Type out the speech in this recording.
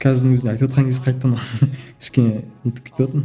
қазірдің өзінде айтыватқан кез қайтадан кішкене не етіп кетіватырмын